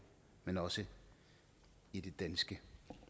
men også i det danske